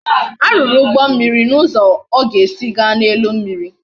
A ruru ugbo mmiri na uzo o ga esi ga na elu mmiri